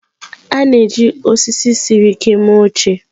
A na-eji osisi siri ike mee oche.